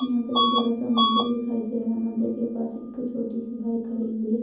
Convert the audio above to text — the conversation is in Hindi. यहाँ पर एक बड़ा सा मंदिर दिखाई दे रहा है मंदिर के पास एक छोटी सी बाइक खड़ी हुई है।